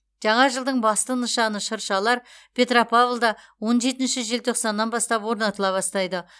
жаңа жылдың басты нышаны шыршалар петропавлда он жетінші желтоқсаннан бастап орнатыла бастайды